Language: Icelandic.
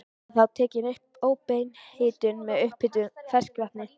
Var þá tekin upp óbein hitun með upphituðu ferskvatni.